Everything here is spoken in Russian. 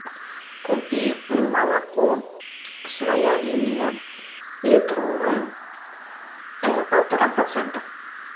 купи молоко своя линия литровое полтора процента